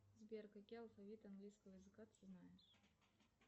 сбер какие алфавиты английского языка ты знаешь